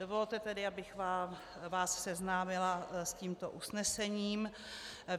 Dovolte tedy, abych vás seznámila s tímto usnesením.